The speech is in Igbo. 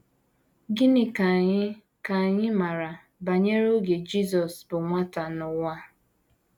Gịnị ka anyị ka anyị maara banyere oge Jisọs bụ nwata n’ụwa?